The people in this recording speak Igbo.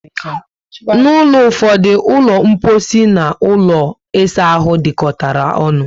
N'ulo ụfọdụ, ulo mposi and ụlọ isa ahụ dikotara ọṅụ